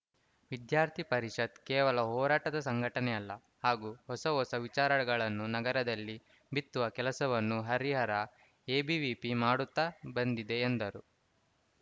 ವಿದ್ಯಾರ್ಥಿ ಪರಿಷತ್‌ ಕೇವಲ ಹೋರಾಟದ ಸಂಘಟನೆಯಲ್ಲ ಹಾಗೂ ಹೊಸಹೊಸ ವಿಚಾರಗಳನ್ನು ನಗರದಲ್ಲಿ ಬಿತ್ತುವ ಕೆಲಸವನ್ನು ಹರಿಹರ ಎಬಿವಿಪಿ ಮಾಡುತ್ತಾ ಬಂದಿದೆ ಎಂದರು